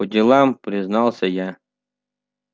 по делам признался я